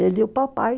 Ele e o papai.